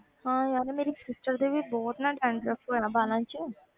ਹਾਂ ਯਾਰ ਮੇਰੀ sister ਦੇ ਵੀ ਬਹੁਤ ਨਾ dandruff ਵਗ਼ੈਰਾ ਵਾਲਾਂ 'ਚ।